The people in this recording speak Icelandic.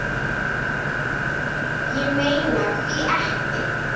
Ég meina hví ekki?